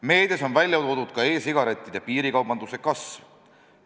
Meedias on välja toodud ka e-sigarettide piirikaubanduse kasv.